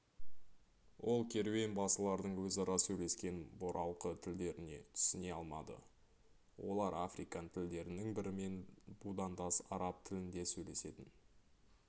ол керуенбасылардың өзара сөйлескен бұралқы тілдеріне түсіне алмады олар африкан тілдерінің бірімен будандас араб тілінде сөйлесетін